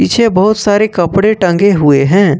पीछे बहुत सारे कपड़े टंगे हुए हैं।